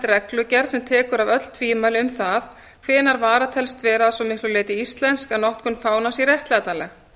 reglugerð sem tekur af öll tvímæli um það hvenær vara telst vera að svo miklu leyti íslensk að notkun fánans sé réttlætanleg